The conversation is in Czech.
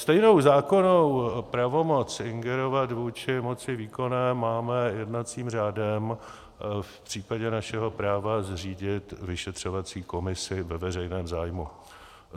Stejnou zákonnou pravomoc ingerovat vůči moci výkonné máme jednacím řádem v případě našeho práva zřídit vyšetřovací komisi ve veřejném zájmu.